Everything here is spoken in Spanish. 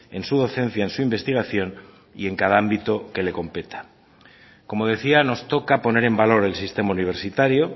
en su docencia en su investigación y en cada ámbito que le competa como decía nos toca poner en valor el sistema universitario